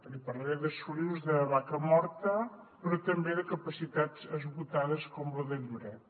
li parlaré de solius de vacamorta però també de capacitats esgotades com la de lloret